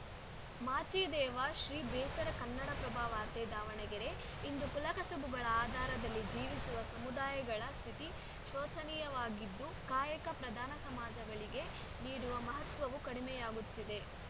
ಮಾಚಿದೇವ ಶ್ರೀ ಬೇಸರ ಕನ್ನಡಪ್ರಭ ವಾರ್ತೆ ದಾವಣಗೆರೆ ಇಂದು ಕುಲ ಕಸುಬುಗಳ ಆಧಾರದಲ್ಲಿ ಜೀವಿಸುವ ಸಮುದಾಯಗಳ ಸ್ಥಿತಿ ಶೋಚನೀಯವಾಗಿದ್ದು ಕಾಯಕ ಪ್ರಧಾನ ಸಮಾಜಗಳಿಗೆ ನೀಡುವ ಮಹತ್ವವೂ ಕಡಿಮೆಯಾಗುತ್ತಿದೆ